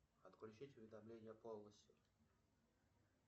отключить уведомления полностью